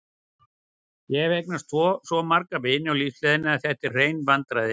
Ég hef eignast svo marga vini á lífsleiðinni að þetta eru hrein vandræði.